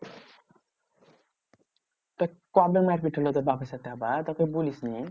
তো কবে মারপিট হলো তোর বাপের সাথে আবার তা কোই বলিসনি?